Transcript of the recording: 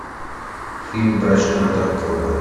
фильм брачный контракт врубай